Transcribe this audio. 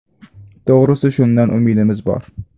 To‘g‘risi, shundan umidimiz bor.